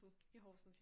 I Horsens ja